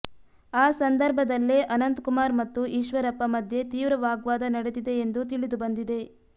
ಆ ಸಂದರ್ಭದಲ್ಲೇ ಅನಂತ ಕುಮಾರ್ ಮತ್ತು ಈಶ್ವರಪ್ಪ ಮಧ್ಯೆ ತೀವ್ರ ವಾಗ್ವಾದ ನಡೆದಿದೆ ಎಂದು ತಿಳಿದುಬಂದಿದೆ